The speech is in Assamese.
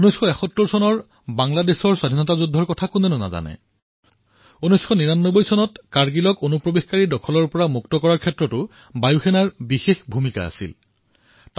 ১৯৭১ চনৰ বাংলাদেশৰ স্বতন্ত্ৰতাৰ যুদ্ধৰ বিষয়ে কোনে নাজানে ১৯৯৯ চনত কাৰ্গিলক বহিৰাগতৰ হাতোৰাৰ পৰা মুক্ত কৰোৱাত বায়ুসেনাই গুৰুত্বপূৰ্ণ ভূমিকা পালন কৰিছিল